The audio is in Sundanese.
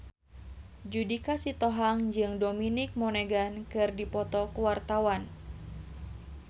Judika Sitohang jeung Dominic Monaghan keur dipoto ku wartawan